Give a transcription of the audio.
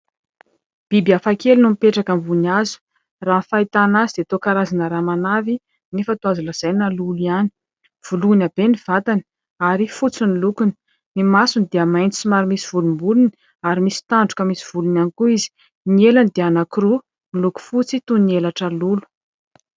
Biby afakely no mipetraka ambony azo. Raha ny fahitana azy dia toa karazana ramanavy nefa toa azo lazaina lolo ihany. Voloina be ny vatany ary fotsy ny lokony. Ny masony dia mainty somary misy volombolony ary misy tandroka misy volony ihany koa izy. Ny elany dia anankiroa miloko fotsy toy ny elatra lolo.